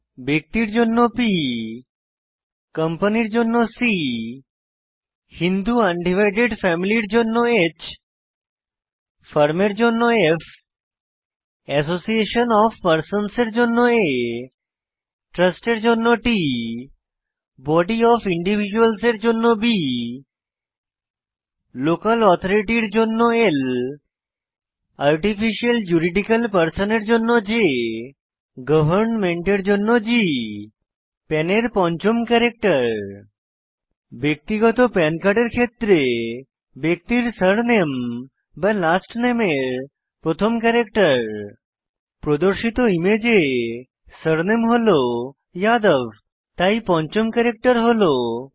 ব্যক্তির জন্য P কম্পানির জন্য C হিন্দু আনডিভাইডেড ফ্যামিলির জন্য H ফার্ম এর জন্য F অ্যাসোসিয়েশন অফ পার্সন্সের জন্য A ট্রাস্টের জন্য T বডি অফ ইন্ডিভিজ্যুয়ালসের জন্য B লোকাল অথারিটির জন্য L আর্টিফিশিয়াল জুরিডিকল পার্সনের জন্য J গভর্নমেন্টের জন্য G পান এর পঞ্চম ক্যারেক্টার ব্যক্তিগত পান কার্ডের ক্ষেত্রে ব্যক্তির সার নেম বা লাস্ট নেমের প্রথম ক্যারেক্টার প্রদর্শিত ইমেজে সারনেম হল যাদব তাই পঞ্চম ক্যারেক্টার হল ই